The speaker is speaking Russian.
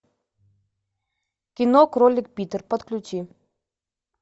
кино кролик питер подключи